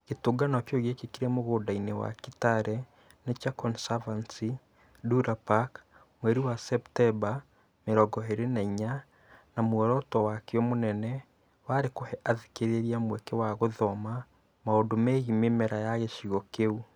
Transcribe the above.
Gĩtũngano kĩu gĩekĩkire mũgũnda-inĩ wa Kitale Nature Conservancy (Ndura Park) mweri wa Septemba 24, na muoroto wakĩo mũnene warĩ kũhe athikĩrĩria mweke wa gũthoma maũndũ megiĩ mĩmera ya gĩcigo kĩu.